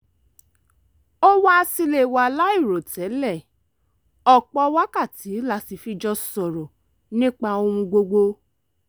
ó wá sílé wa láìròtẹ́lẹ̀ ọ̀pọ̀ wákàtí la sì fi jọ sọ̀rọ̀ nípa ohun gbogbo